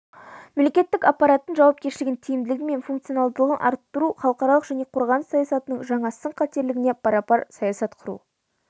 мемлекеттік аппараттың жауапкершілігін тиімділігі мен функционалдығын арттыру халықаралық және қорғаныс саясатының жаңа сын-қатерлеріне парапар саясат құру